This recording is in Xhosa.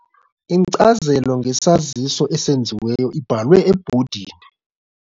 Inkcazelo ngesaziso esenziweyo ibhalwe ebhodini.